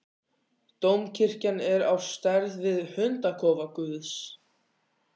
Dómkirkjan er á stærð við hundakofa guðs.